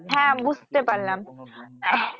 হ্যা বুঝতে পারলাম আহ